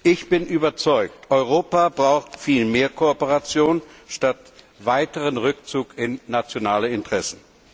Ich bin überzeugt Europa braucht viel mehr Kooperation statt weiteren Rückzug in nationale Interessen.